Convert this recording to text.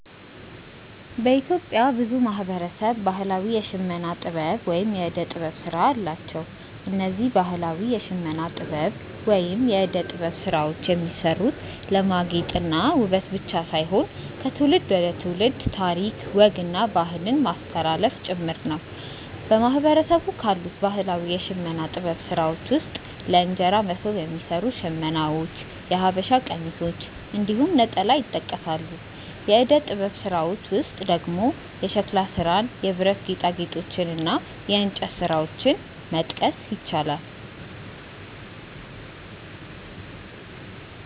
በኢትዮጵያ ብዙ ማህበረሰብ ባህላዊ የሽመና ጥበብ ወይም የእደ ጥበብ ስራ አላቸው። እነዚህ ባህላዊ የሽመና ጥበብ ወይም የእደ ጥበብ ስራዎች የሚሰሩት ለማጌጥ እና ውበት ብቻ ሳይሆን ከትውልድ ትውልድ ታሪክ፣ ወግ እና ባህልን ለማስተላለፍ ጭምር ነው። በማህበረሰቡ ካሉት ባህላዊ የሽመና ጥበብ ስራዎች ውስጥ ለእንጀራ መሶብ የሚሰሩ ሽመናዎች፣ የሐበሻ ቀሚሶች እንዲሁም ነጠላ ይጠቀሳሉ። የእደ ጥበብ ስራዎች ውስጥ ደግሞ የሸክላ ስራን፣ የብረት ጌጣጌጦችን እና የእንጨት ስራዎችን መጥቀስ ይቻላል።